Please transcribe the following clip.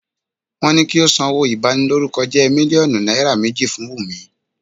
Wọ́n ni kí ó sanwó ìbanilórúkọjẹ́ mílíọ̀nù náírà méjì fún Wùmí.